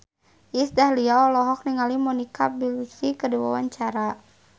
Iis Dahlia olohok ningali Monica Belluci keur diwawancara